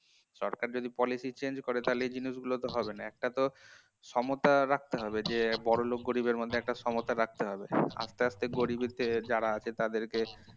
সরকার যদি policy change করে তাহলে এই জিনিস গুলো তো হবে না একটা তো সমতা রাখতে হবে যে বড় বড়লোক আর গরিবের মধ্যে একটা সমতা রাখতে হবে আস্তে আস্তে গরিব যারা আছে তাদেরকে